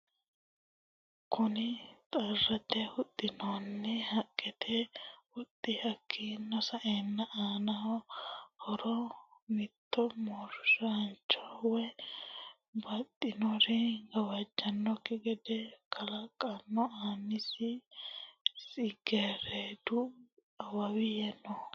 Kunni xarrate huxinoonni haqete huxati hakiino sa'eena aano horro mitto moorancho woyi baxinori gawajanoki gedde kaalano aanasi tsigeredu awawi no.